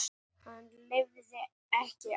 Hann lifði ekki af.